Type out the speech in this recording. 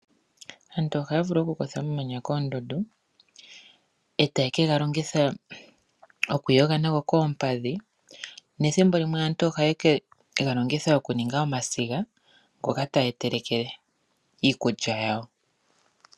Aantu ohaa vulu okukutha omamanya koondundu eta yeka ga longitha oku yoga koompadhi nethimbo limwe aantu ohaye ga longitha okuninga